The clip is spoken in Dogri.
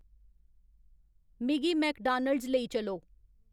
मिगी मैकडानल्ड्स लेई चलो